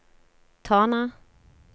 Tana